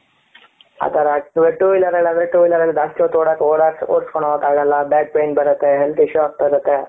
ಅತರ two wheeler ಅಲ್ಲಿ ಆದ್ರೆ two wheeler ಅಲ್ಲಿ ಜಾಸ್ತಿ ಹೊತು ಹೊದಿಸ್ಕೊಂಡ್ ಹೋಗಗೆ ಆಗಲ್ಲ back pain ಬರುತ್ತೆ health issue ಆಗ್ತಾ ಇರುತೆ.